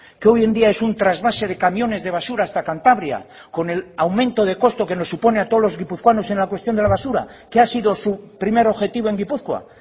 que hoy en día es un trasvase de camiones de basura hasta cantabria con el aumento de coste que nos supone a todos los guipuzcoanos en la cuestión de la basura que ha sido su primer objetivo en gipuzkoa